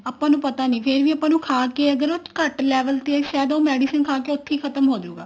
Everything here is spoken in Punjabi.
ਆਪਾਂ ਨੂੰ ਪਤਾ ਨੀ ਫ਼ੇਰ ਵੀ ਆਪਾਂ ਨੂੰ ਖਾ ਕੇ ਘੱਟ level ਤੇ ਸ਼ਾਇਦ ਉਹ medicine ਖਾ ਕੇ ਉੱਥੀ ਖਤਮ ਹੋਜੂਗਾ